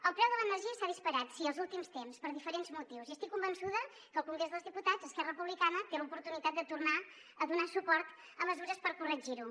el preu de l’energia s’ha disparat sí els últims temps per diferents motius i estic convençuda que al congrés dels diputats esquerra republicana té l’oportunitat de tornar a donar suport a mesures per corregir ho